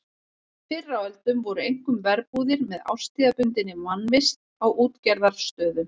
Fyrr á öldum voru einkum verbúðir með árstíðabundinni mannvist á útgerðarstöðum.